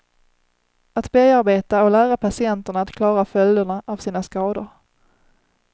Att bearbeta och lära patienterna att klara följderna av sina skador.